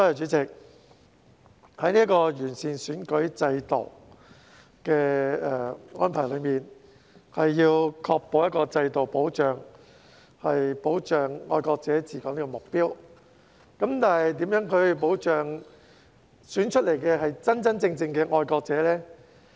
主席，完善選舉制度的安排是要確保一個制度能保障"愛國者治港"的目標，但如何能確保當選的人是真正的愛國者？